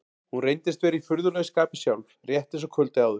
Hún reyndist vera í furðulegu skapi sjálf, rétt eins og kvöldið áður.